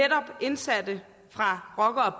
indsatte fra rocker